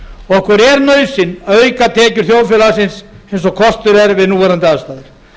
okkur er nauðsyn að auka tekjur þjóðfélagsins eins og kostur er við núverandi aðstæður